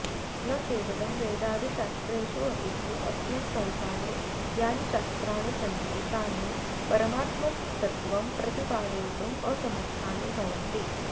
न केवलं वेदादिशास्त्रेषु अपितु अस्मिन् संसारे यानि शास्त्राणि सन्ति तान्ति परमात्मतत्त्वं प्रतिपादयितुमसमर्थानि भवन्ति